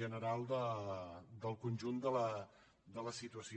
general del conjunt de la situació